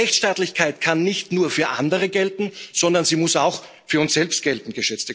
Denn Rechtsstaatlichkeit kann nicht nur für andere gelten, sondern sie muss auch für uns selbst gelten.